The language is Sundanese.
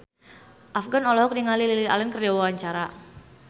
Afgan olohok ningali Lily Allen keur diwawancara